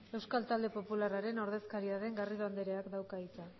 euskal talde popularraren ordezkaria den garrido andereak dauka hitza